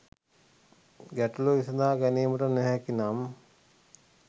ගැටලූව විසදා ගැනීමට නොහැකි නම්